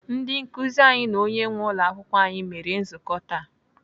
Ndị nkụzi anyị na onye nwee ụlọakwụkwọ anyị mere nzukọ taa.